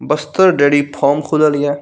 बस्तर dairy farm खुलल हिए।